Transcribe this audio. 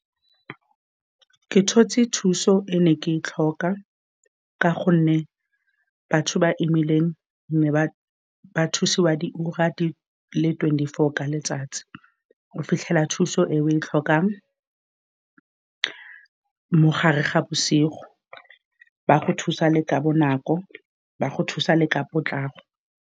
Ke tshotse thuso e ne ke e tlhoka, ka gonne batho ba ba imileng nne ba thusiwa diura di le twenty-four ka letsatsi. O fitlhela thuso e o e tlhokang mogare ga bosigo, ba go thusa le ka bonako, ba go thusa le ka potlako.